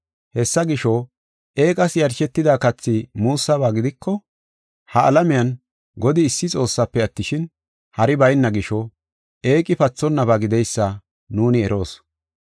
Hessa gisho, eeqas yarshetida kathi muussaba gidiko, ha alamiyan Godi issi Xoossafe attishin, hari bayna gisho, eeqi pathonnaba gideysa nuuni eroos.